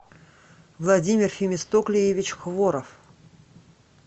владимир фемистоклиевич хворов